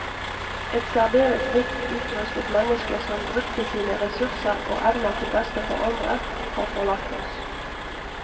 Et særdeles rikt utrustet menneske, som brukte sine ressurser og evner til beste for andre, har forlatt oss.